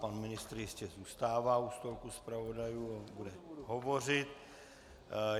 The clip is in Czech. Pan ministr jistě zůstává u stolku zpravodajů a bude hovořit.